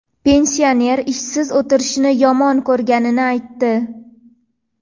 Pensioner ishsiz o‘tirishni yomon ko‘rganini aytdi.